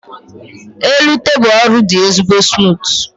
elu tebụl ọrụ dị ezigbo smutu